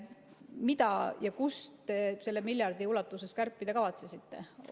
Mida ja kust te selle miljardi ulatuses kärpida kavatsesite?